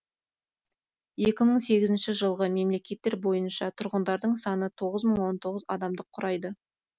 екі мың сегізінші жылғы мәліметтер бойынша тұрғындарының саны тоғыз мың он тоғыз адамды құрайды